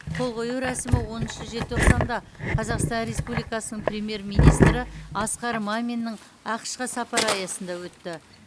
қол қою рәсімі оныншы желтоқсанда қазақстан республикасының премьер министрі асқар маминнің ақш қа сапары аясында өтті